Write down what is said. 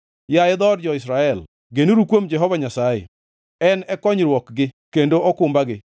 Yaye dhood jo-Israel, genuru kuom Jehova Nyasaye, En e konyruokgi kendo okumbagi.